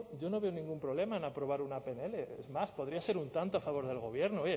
yo no veo ningún problema en aprobar una pnl es más podría ser un tanto a favor del gobierno oye